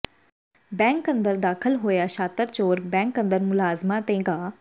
bank ਅੰਦਰ ਦਾਖਲ ਹੋਇਆ ਸ਼ਾਤਰ ਚੋਰ ਬੈਂਕ ਅੰਦਰ ਮੁਲਾਜ਼ਮਾਂ ਤੇ ਗਾ